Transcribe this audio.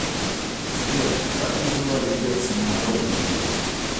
сбер как называли герцена народники